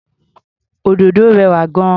Òdòdó rẹwà gan-an.